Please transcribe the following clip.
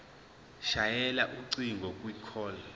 shayela ucingo kwicall